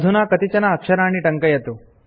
अधुना कतिचन अक्षराणि टङ्कयतु